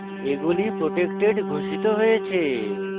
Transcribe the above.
এগুলি protected ঘোষিত হয়েছে